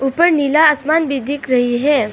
ऊपर नीला आसमान भी दिख रही है।